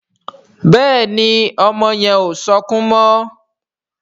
Béèni ọmọ yen o sọkún mo